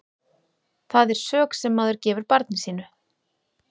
Það er sök sem maður gefur barni sínu.